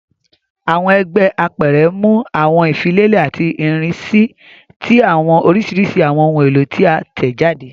Awọn ẹgbẹ apẹrẹ mu awọn ifilelẹ ati irisi ti awọn orisirisi awọn ohun elo ti a tẹjade.